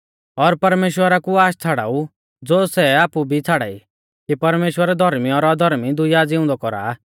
और परमेश्‍वरा कु आश छ़ाड़ाऊ ज़ो सै आपु भी छ़ाड़ाई कि परमेश्‍वर धौर्मी और अधर्मी दुइया ज़िउंदै कौरा आ